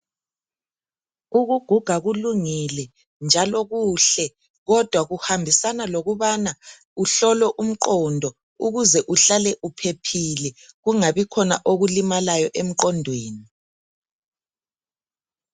Ukuguga kulungile njalo kuhle kodwa kuhambisana lokubana kuhlolwe umqondo ukuze uhlale uphephile kungabi khona okulimalayo emqondweni.